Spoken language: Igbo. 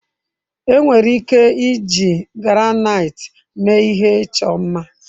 Enwere ike iji granaiti mee ihe ịchọ mma.